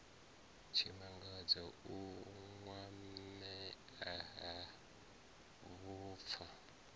tshimangadzo u kwamea ha vhupfa